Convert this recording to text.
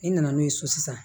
I nana n'o ye so sisan